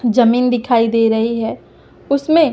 जमीन दिखाई दे रही है उसमें--